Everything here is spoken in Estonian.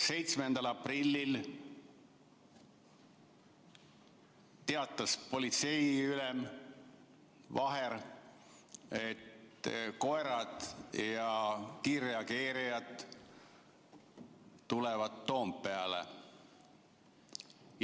7. aprillil teatas politseiülem Vaher, et koerad ja kiirreageerijad tulevad Toompeale.